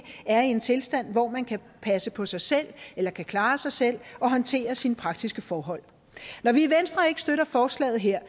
er i en tilstand hvor man kan passe på sig selv eller kan klare sig selv og håndtere sine praktiske forhold når vi i venstre ikke støtter forslaget her